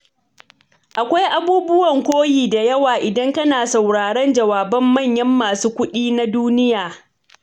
Akwai abubuwan koyi da yawa idan kana sauraron jawaban manyan masu kuɗi na duniya.